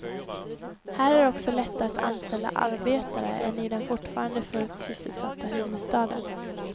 Här är det också lättare att anställa arbetare än i den fortfarande fullt sysselsatta huvudstaden.